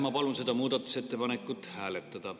Ma palun seda muudatusettepanekut hääletada.